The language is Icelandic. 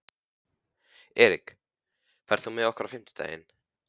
Erik, ferð þú með okkur á fimmtudaginn?